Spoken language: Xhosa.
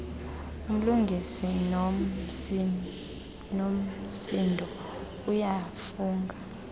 umlungisi unomsindo uyafunga